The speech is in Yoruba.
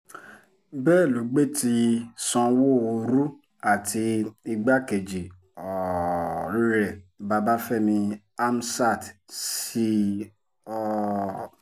bẹ́ẹ̀ ló gbé ti sanwóoru àti igbákejì um rẹ̀ babafẹ́mi hamsat sí i um